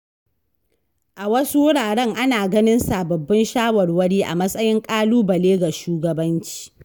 A wasu wuraren ana ganin sababbin shawarwari a matsayin ƙalubale ga shugabanci.